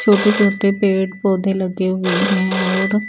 छोटे छोटे पेड़ पोधे लगे हुए हैं और--